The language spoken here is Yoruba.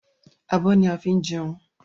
Abọ́ ni a fi ń jẹun